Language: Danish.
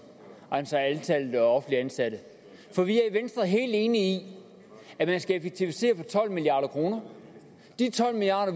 altså antallet af offentligt ansatte for vi er i venstre helt enige i at man skal effektivisere for tolv milliard kroner de tolv milliard